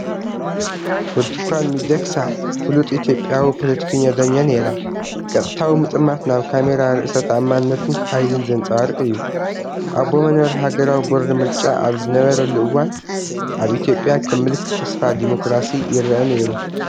ብርቱካን ሚደክሳ ፍሉጥ ኢትዮጵያዊ ፖለቲከኛን ዳኛ ነይራ። ቀጥታዊ ምጥማት ናብ ካሜራ ርእሰ ተኣማንነትን ሓይልን ዘንጸባርቕ እዩ። ኣቦ መንበር ሃገራዊ ቦርድ ምርጫ ኣብ ዝነበረሉ እዋን፡ ኣብ ኢትዮጵያ ከም ምልክት ተስፋ ዲሞክራሲ ይረአ ነይሩ።